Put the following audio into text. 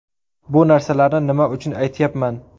Bu narsalarni nima uchun aytyapman?